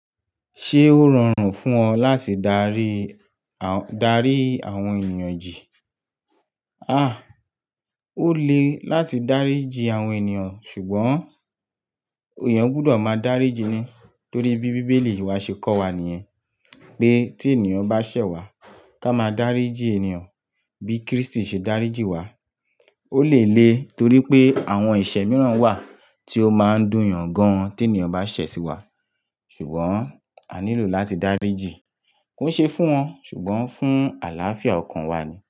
Ṣé ó rọrùn fún ọ láti darí, darí àwọn ènìyàn jì? À, ó le láti dárí ji àwọn ènìyàn ṣùgbọ́n èèyàn gbudọ̀ máa dáríji ni torí bí Bíbélì wa ṣe kọ́ wa nìyẹn pé tí ènìyàn bá ṣẹ̀ wá ká máa dáríji ènìyàn bí Krístì ṣe dáríji wá. Ó le le torí pé àwọn ẹ̀ṣẹ̀ mìíràn wà tí ó máa ń dùn yàn gan tí ènìyàn bá ṣẹ̀ sí wa ṣùgbọ́n a nílò láti dáríji. Kò ṣe é fún wọn ṣùgbọ́n fún àlàáfíà ọkàn wa ni.